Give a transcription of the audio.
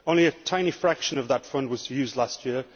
Only a tiny fraction of that fund was used last year.